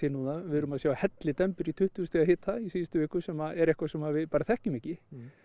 núna við erum að sjá hellidembur í tuttugu stiga hita í síðustu viku sem er eitthvað sem við bara þekkjum ekki